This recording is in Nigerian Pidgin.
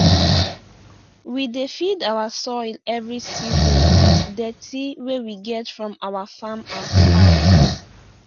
we dey feed our soil every season with dirty wey we get from our farm and huz